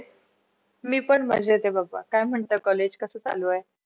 मी पण मजेत आहे बाबा काय म्हणता college कस चालू आहे?